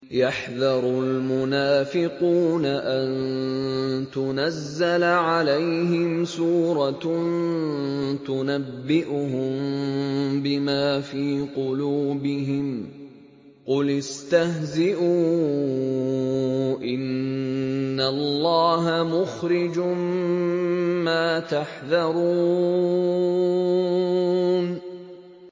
يَحْذَرُ الْمُنَافِقُونَ أَن تُنَزَّلَ عَلَيْهِمْ سُورَةٌ تُنَبِّئُهُم بِمَا فِي قُلُوبِهِمْ ۚ قُلِ اسْتَهْزِئُوا إِنَّ اللَّهَ مُخْرِجٌ مَّا تَحْذَرُونَ